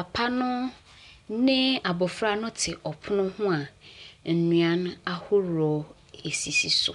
Papa no ne abɔfra no te ɔpono no ho a nnuan ahoroɔ sisi so.